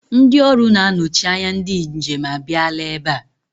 Ndị ọrụ na-anọchi anya ndị njem a bịala ebe a.